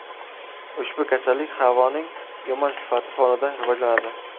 Ushbu kasallik havoning yomon sifati fonida rivojlanadi.